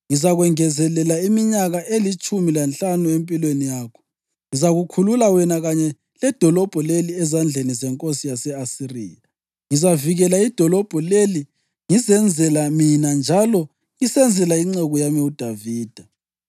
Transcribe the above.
Ngizakwengezelela iminyaka elitshumi lanhlanu empilweni yakho. Ngizakukhulula wena kanye ledolobho leli ezandleni zenkosi yase-Asiriya. Ngizavikela idolobho leli ngizenzela mina njalo ngisenzela inceku yami uDavida.’ ”